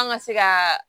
An ka se ka